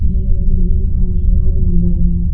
ये दिल्ली का मशहुर मंदिर हैं।